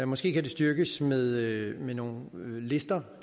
måske kan det styrkes med nogle lister